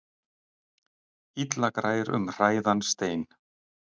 Illa grær um hræðan stein.